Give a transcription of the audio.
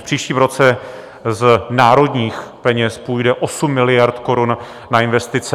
V příštím roce z národních peněz půjde 8 miliard korun na investice.